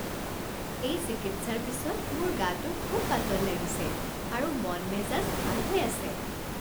এই চিকিৎসাৰ পিছত মোৰ গাটো খুব পাতল লাগিছে আৰু মন মেজাজ ভাল হৈ আছে